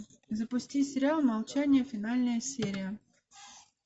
запусти сериал молчание финальная серия